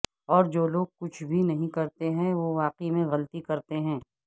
اور جو لوگ کچھ بھی نہیں کرتے ہیں وہ واقعی غلطی کرتے ہیں